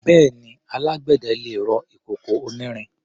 Bẹ́ẹ̀ni, alágbẹ̀dẹ lè rọ ìkòkò onírin.